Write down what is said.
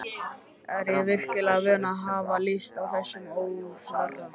Er ég virkilega vön að hafa lyst á þessum óþverra?